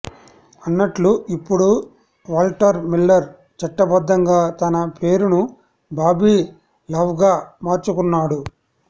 అన్నట్లు ఇప్పుడు Walter Miller చట్టబద్ధంగా తన పేరును బాబీ లవ్గా మార్చుకున్నాడు